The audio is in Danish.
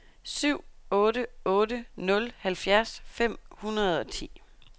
syv otte otte nul halvfjerds fem hundrede og ti